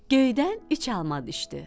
Göydən üç alma düşdü.